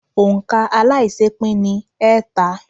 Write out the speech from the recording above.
Òǹ̀kà aláiṣẹépín ni ẹẹ́ta.